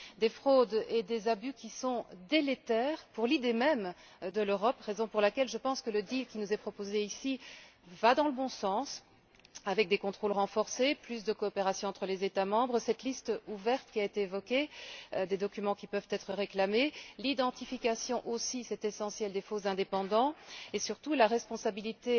Des fraudes et des abus qui sont délétères pour l'idée même de l'Europe, raison pour laquelle, je pense que le deal qui nous est proposé ici va dans le bon sens, avec des contrôles renforcés, plus de coopération entre les États membres, cette liste ouverte qui a été évoquée, des documents qui peuvent être réclamés, l'identification aussi c'est essentiel des faux indépendants et, surtout, la responsabilité